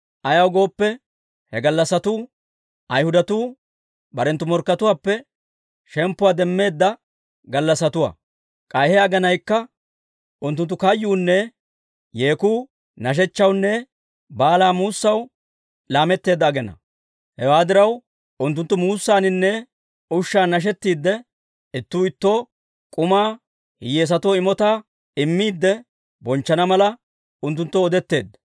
Ayaw gooppe, he gallassatuu Ayhudatuu barenttu morkkatuwaappe shemppuwaa demmeedda gallassatuwaa; k'ay he aginaykka unttunttu kayyuunne yeekuu nashechchawunne baalaa muusaw laametteedda aginaa. Hewaa diraw, unttunttu muussaaninne ushshan nashettiidde, ittuu ittoo k'umaa hiyyeesatoo imotaa immiidde bonchchana mala, unttunttoo odetteedda.